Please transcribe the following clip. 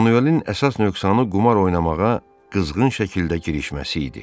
Manuelin əsas nöqsanı qumar oynamağa qızğın şəkildə girişməsi idi.